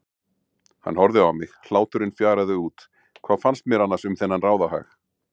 Hann horfði á mig, hláturinn fjaraði út, hvað fannst mér annars um þennan ráðahag?